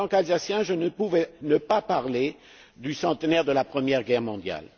En tant qu'Alsacien, je ne pouvais pas ne pas parler du centenaire de la Première Guerre mondiale.